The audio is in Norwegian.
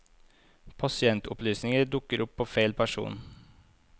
Pasientopplysninger dukker opp på feil person.